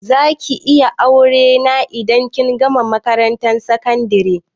Za ki yi aure ne indan kin gama makarantar sakandari?